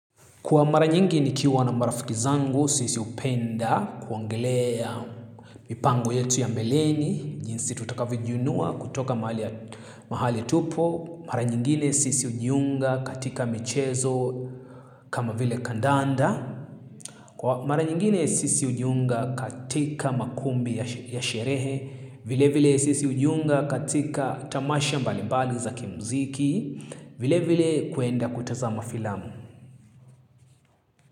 Kwa mara nyingi nikiwa na marafiki zangu, sisi hupenda kuongelea mipango yetu ya mbeleni, jinsi tutakavyo jiinua kutoka mahali tupo. Mara nyingine sisi hujiunga katika michezo kama vile kandanda. Kwa mara nyingine sisi hujiunga katika makumbi ya sherehe. Vile vile sisi hujiunga katika tamasha mbalimbali za kimziki. Vile vile kuenda kutazama filamu.